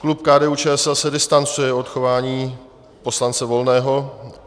Klub KDU-ČSL se distancuje od chování poslance Volného.